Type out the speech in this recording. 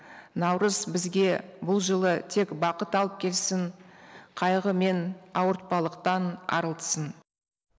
наурыз бізге бұл жылы тек бақыт алып келсін қайғы мен ауыртпалықтан арылтсын